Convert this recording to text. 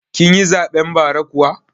Kin yi zaɓen bara kuwa?